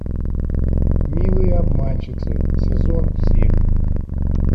милые обманщицы сезон семь